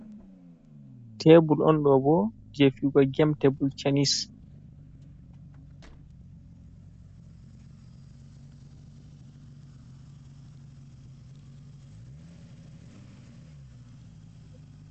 Tebul on ɗo ɓo je fiyuga gem tebul tanis.